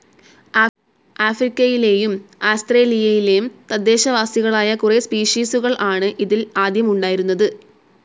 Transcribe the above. ആഫ്രിക്കയിലേയും ആസ്ത്രേലിയയിലേം തദ്ദേശവാസികളായ കുറെ സ്പീഷിസുകൾ ആണ് ഇതിൽ ആദ്യം ഉണ്ടായിരുന്നത്.